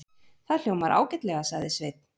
Það hljómar ágætlega, sagði Sveinn.